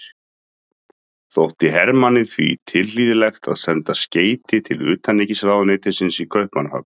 Þótti Hermanni því tilhlýðilegt að senda skeyti til utanríkisráðuneytisins í Kaupmannahöfn.